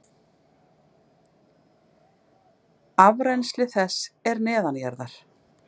Afrennsli þess er neðanjarðar.